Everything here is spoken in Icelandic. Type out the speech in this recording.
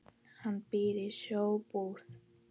Hann býr í Sjóbúð.